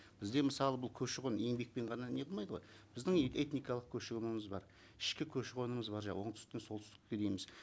бізде мысалы бұл көші қон еңбекпен ғана не қылмайды ғой біздің этникалық көші қонымыз бар ішкі көші қонымыз бар оңтүстіктен солтүстікке дейміз